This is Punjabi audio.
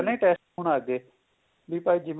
ਪਹਿਲਾਂ ਹੀ test ਹੋਣ ਲੱਗ ਗੇ ਵੀ ਭਾਈ ਜਿਵੇਂ